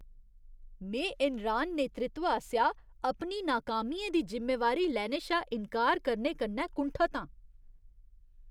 में एनरान नेतृत्व आसेआ अपनी नाकामियें दी जिम्मेवारी लैने शा इन्कार करने कन्नै कुंठत आं।